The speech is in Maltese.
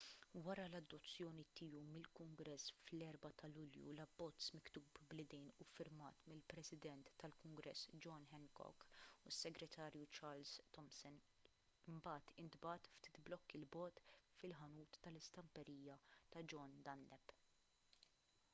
wara l-adozzjoni tiegħu mill-kungress fl-4 ta' lulju l-abbozz miktub bl-idejn u ffirmat mill-president tal-kungress john hancock u s-segretarju charles thomson imbagħad intbagħat ftit blokki l bogħod fil-ħanut tal-istamperija ta' john dunlap